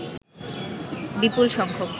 বিপুল সংখ্যক